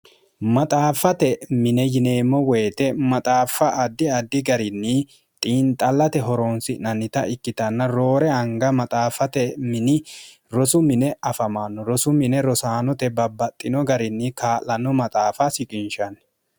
maxaaffate mine yineemmo woyite maxaaffa addi addi garinni xiinxallate horoonsi'nannita ikkitanna roore anga maxaaffate mini rosu mine afamaanno rosu mine rosaanote babbaxxino garinni kaa'lanno maxaafa siqinshanni